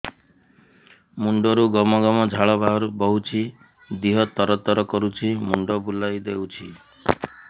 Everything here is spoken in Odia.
ମୁଣ୍ଡରୁ ଗମ ଗମ ଝାଳ ବହୁଛି ଦିହ ତର ତର କରୁଛି ମୁଣ୍ଡ ବୁଲାଇ ଦେଉଛି